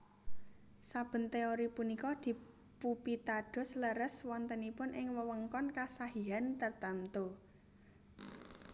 Saben téori punika dipupitados leres wontenipun ing wewengkon kesahihan tartemtu